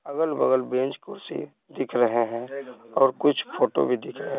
अगल-बगल बेंच कुर्सी दिख रहे हैं और कुछ फोटो भी दिख रहे --